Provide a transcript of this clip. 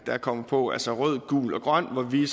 der kommer på altså rød gul og grøn hvor vi